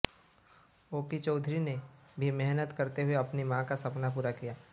OP Chaudhary ने भी मेहनत करते हुए अपनी मां का सपना पूरा किया